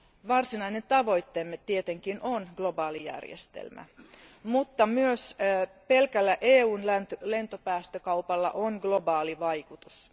Varsinainen tavoitteemme tietenkin on globaalijärjestelmä, mutta myös pelkällä EUn lentopäästökaupalla on globaali vaikutus.